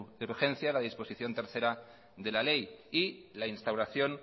de urgencia la disposición tercera de la ley y la instauración